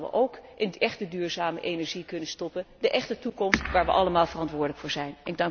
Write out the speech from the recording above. Die hadden we ook in echte duurzame energie kunnen stoppen, de echte toekomst waar we allemaal verantwoordelijk voor zijn.